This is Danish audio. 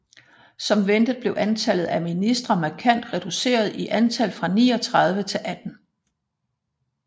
Som ventet blev antallet af ministre markant reduceret i antal fra 39 til 18